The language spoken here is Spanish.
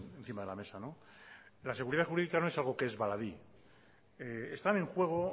encima de la mesa la seguridad jurídica no es algo que es baladí están en juego